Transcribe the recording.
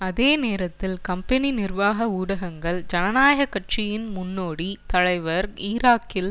அதே நேரத்தில் கம்பெனி நிர்வாக ஊடகங்கள் ஜனநாயக கட்சியின் முன்னோடி தலைவர் ஈராக்கில்